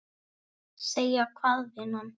Segja hvað, vinan?